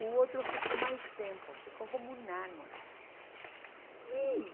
O outro ficou mais tempo, ficou como um ano lá e